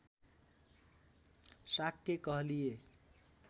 शाक्य कहलिए